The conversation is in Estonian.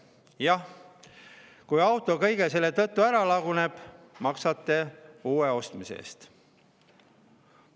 Jah, ja kui auto kõige selle tõttu ära laguneb, maksate uue ostmise eest.